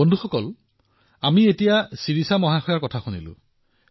বন্ধুসকল আমি এইমাত্ৰ শিৰিষাজীৰ কথা শুনিলো